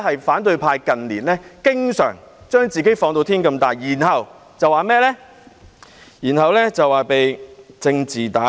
反對派近年經常把自己放至無限大，然後說被政治打壓。